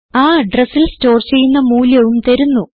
ആ അഡ്രസിൽ സ്റ്റോർ ചെയ്യുന്ന മൂല്യവും തരുന്നു